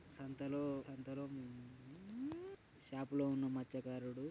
సంతలో సంతోలో చాపలో ఉన్న మచ్చకారుడు.